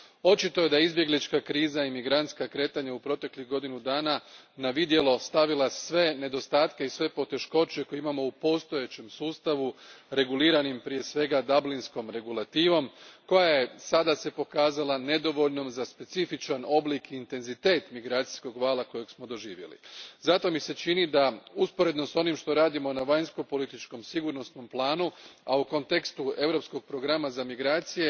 Očito je da su izbjeglička kriza i migrantska kretanja u proteklih godinu dana na vidjelo stavili sve nedostatke i poteškoće koje imamo u postojećem sustavu reguliranim, prije svega, Dublinskom regulativom koja se sada pokazala nedovoljnom za specifičan oblik i intenzitet migracijskog vala kojeg smo doživjeli. Zato mi se čini da usporedno s onim što radimo na vanjskopolitičkom sigurnosnom planu, a u kontekstu europskog programa za migracije,